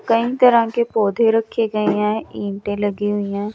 कई तरह के पौधे रखे गए हैं ईंटे लगी हुई हैं।